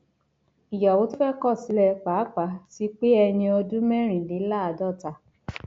ìyàwó tó fẹẹ kọ sílẹ pàápàá ti pé ẹni ọdún mẹrìnléláàádọta